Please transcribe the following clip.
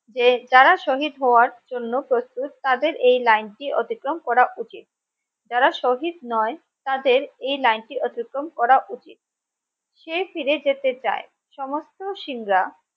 যে যার শহীদ হওয়ার জন্য প্রস্তুত তাদের এই লাইন টি অতিক্রম করা উচিত যারা শহীদ নয় তাদের এই লাইন টি অতিক্রম করা উচিত সে ফিরে যেতে চায় সমস্ত সিং রা